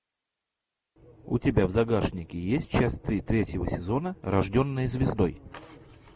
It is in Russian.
у тебя в загашнике есть часть три третьего сезона рожденная звездой